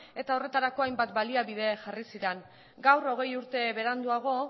eta horretarako hainbat baliabide jarri ziren gaur hogei urte beranduago